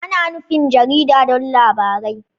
Ana nufin jarida don labarai.